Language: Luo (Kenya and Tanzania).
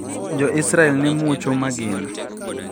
Jo Israel ne muocho magina